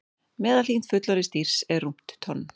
Meðalþyngd fullorðins dýrs er rúmt tonn.